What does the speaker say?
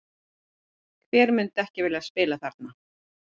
Hver myndi ekki vilja spila þarna?